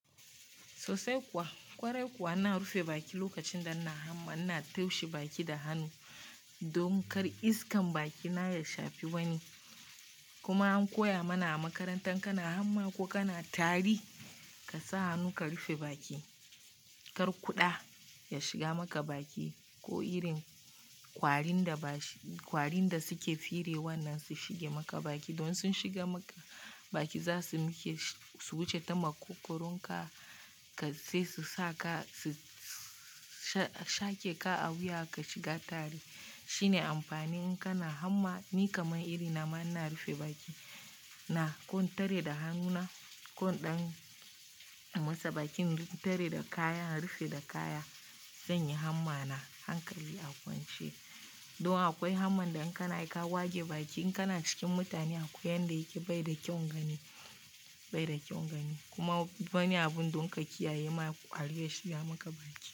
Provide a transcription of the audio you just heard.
Sosai kuwa, ƙwarai kuwa ana rufe baki lokacin da ana hamma, ina toshe baki da hannu domin kar iskan baki na ya shafi wani. Kuma an koya mana a makarantar kana hamma ko kana tari, ka sa hannu ka rufe baki kar kuɗa ya shiga maka baki ko irin ƙwarin da ba ƙwarin da suke fire wannan su shiga maka baki. Don sun shigar maka baki zasu wuce ta makogaron ka sai su sa ka su shaƙe ka a wuya ka shiga tari. Shine amfanin in kana hamma. Ni kamar iri na ma ina rufe baki na ko in tare da hannuna ko in ɗan masa bakin tare da kaya, rufe da kaya zan in yi hamma na hankali a kwance. Don akwai hamma da in kana ka wage baki in kana cikin mutane akwai yanda yake bai da kyaun gani, kuma wani abun don ka kiyaye ma ƙwari ya shigar maka baki.